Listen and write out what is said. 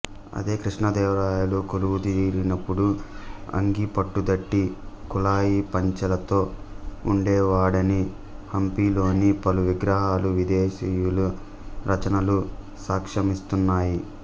అదే కృష్ణదేవరాయలు కొలువుదీరినప్పుడు అంగీ పట్టుదట్టి కుల్లాయి పంచెలతో ఉండేవాడని హంపిలోని పలు విగ్రహాలు విదేశీయుల రచనలు సాక్ష్యమిస్తున్నాయి